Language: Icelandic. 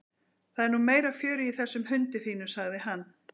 Það er nú meira fjörið í þessum hundi þínum sagði hann.